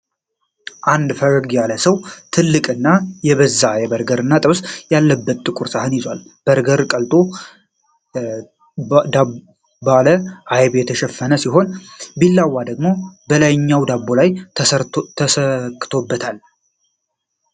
አንድ ፈገግ ያለ ሰው ትልቅና የበዛ በርገር እና ጥብስ ያለበትን ጥቁር ሳህን ይዟል። በርገሩ ቀልጦ ባለ አይብ የተሸፈነ ሲሆን፣ ቢላዋ ደግሞ ከላይኛው ዳቦ ላይ ተሰክቶበታል።